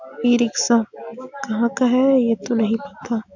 इ रिक्शा कहाँ का है ये तो नहीं पता --